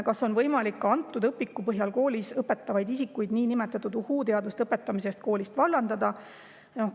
Kas on võimalik ka antud õpiku põhjal koolis õpetavaid isikuid nn "uhuu-teaduste" õpetamise eest koolist vallandada?